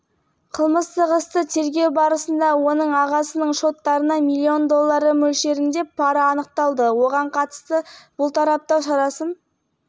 ретінде қамауға алу шарасы қабылданды бұл іс бойынша барлығы адам сотқа тартылды олардың кінәларын толық